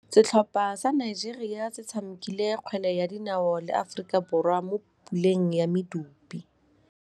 Setlhopha sa Nigeria se tshamekile kgwele ya dinaô le Aforika Borwa mo puleng ya medupe.